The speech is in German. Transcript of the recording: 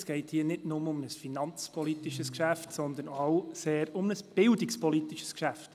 Es geht hier nicht nur um ein finanzpolitisches, sondern auch um ein sehr bildungspolitisches Geschäft.